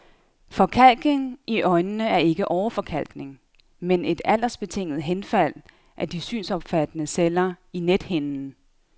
Forkalkning i øjnene er ikke åreforkalkning, men et aldersbetinget henfald af de synsopfattende celler i nethinden.